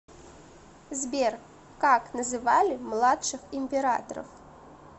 сбер как называли младших императоров